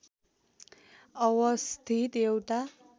अवस्थित एउटा